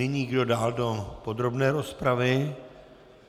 Nyní kdo dál do podrobné rozpravy?